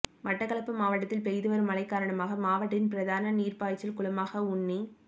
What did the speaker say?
மட்டக்களப்பு மாவட்டத்தில் பெய்துவரும் மழை காரணமாக மாவட்டத்தின் பிரதான நீர்ப்பாய்ச்சல் குளமான உன்னிச்